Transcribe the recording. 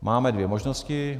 Máme dvě možnosti.